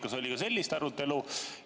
Kas oli sellist arutelu?